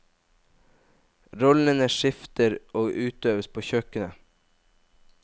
Rollene skifter og utøves på kjøkkenet.